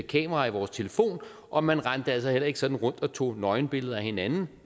kamera i vores telefon og man rendte altså heller ikke sådan rundt og tog nøgenbilleder af hinanden